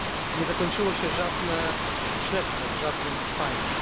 Nie zakończyło się żadne śledztwo w żadnym z państw.